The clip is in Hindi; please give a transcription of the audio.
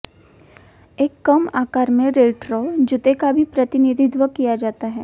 एक कम आकार में रेट्रो जूते का भी प्रतिनिधित्व किया जाता है